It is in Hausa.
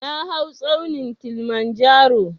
Na hau tsaunin Kilimanjaro